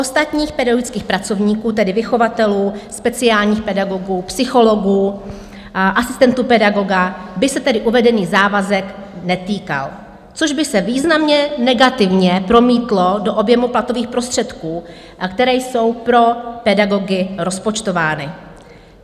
Ostatních pedagogických pracovníků, tedy vychovatelů, speciálních pedagogů, psychologů a asistentů pedagoga, by se tedy uvedený závazek netýkal, což by se významně negativně promítlo do objemu platových prostředků, které jsou pro pedagogy rozpočtovány.